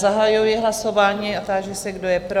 Zahajuji hlasování a ptám se, kdo je pro?